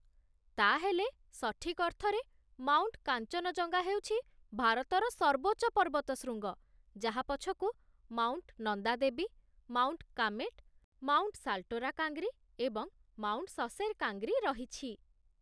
ତା'ହେଲେ, ସଠିକ୍ ଅର୍ଥରେ, ମାଉଣ୍ଟ କାଞ୍ଚନଜଙ୍ଗା ହେଉଛି ଭାରତର ସର୍ବୋଚ୍ଚ ପର୍ବତଶୃଙ୍ଗ, ଯାହା ପଛକୁ mount Nanda Devi, mount Kamet, mount Saltoro Kangri, ଏବଂ ମାଉଣ୍ଟ ସସେର୍ କାଙ୍ଗ୍ରି ରହିଛି